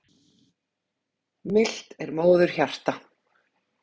Milt er móðurhjarta.